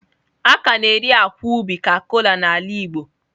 A ka na-eri akwa ubi ka kola n'ala Igbo.